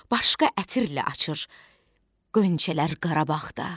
Başqa ətirlə açır qönçələr Qarabağda.